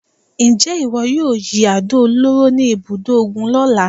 Ǹjẹ́ ìwọ yóò yin àdó olóró ní ibùdó ogun lọ́la?